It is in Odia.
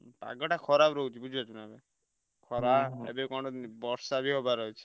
ଉଁ ପାଗଟା ଖରାପ ରହୁଛି ବୁଝିପାରୁଛୁନା ଏବେ। ଖରା ଏବେ କଣ ବର୍ଷା ବି ହବାର ଅଛି।